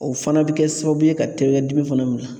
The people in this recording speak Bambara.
O fana bɛ kɛ sababu ye ka dimi fana minɛn.